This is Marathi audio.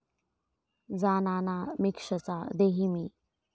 जा नाना मिक्ष्म चा देही मी.'